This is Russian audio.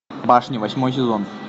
башня восьмой сезон